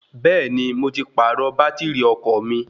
Bẹ́ẹ̀ni, mo ti pàrọ̀ bátìrì ọkọ̀ mi.